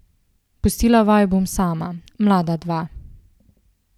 Pustila vaju bom sama, mlada dva.